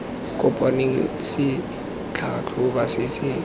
kopaneng se tlhatlhoba se se